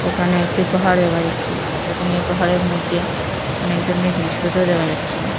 এখানে একটি পাহাড় দেখা যাচ্ছে এবং এই পাহাড়ের মইদ্যে অনেক ধরনের জিনিসপত্র দেখা যাচ্ছে।